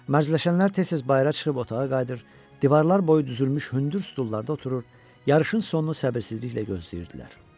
Mərcələşənlər tez-tez bayıra çıxıb otağa qayıdır, divarlar boyu düzülmüş hündür stullarda oturur, yarışın sonunu səbirsizliklə gözləyirdilər.